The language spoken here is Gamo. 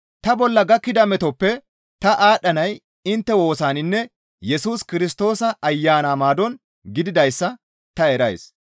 Ta bolla gakkida metoppe ta aadhdhanay intte woosaninne Yesus Kirstoosa Ayana maadon gididayssa ta erays.